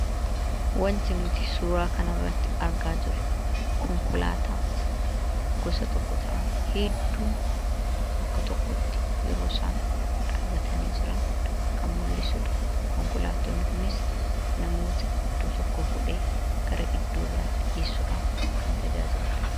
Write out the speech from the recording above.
Wanti nuti suuraa kanarratti argaa jirru, konkolaataa gosa tokko ta'an hedduun bakka tokkotti, yeroosaan dhaabatani jiran, kan mul'isudha. Konkolaattonni kunis namoota iddoo tokkoo fuudhee gara iddoo biraatti geessuudhaaf kan tajaajiludha.